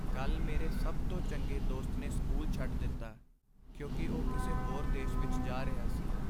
ਕੱਲ੍ਹ ਮੇਰੇ ਸਭ ਤੋਂ ਚੰਗੇ ਦੋਸਤ ਨੇ ਸਕੂਲ ਛੱਡ ਦਿੱਤਾ ਕਿਉਂਕਿ ਉਹ ਕਿਸੇ ਹੋਰ ਦੇਸ਼ ਵਿੱਚ ਜਾ ਰਿਹਾ ਸੀ।